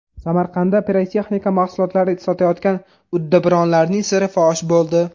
Samarqandda pirotexnika mahsulotlari sotayotgan uddaburonlarning siri fosh bo‘ldi.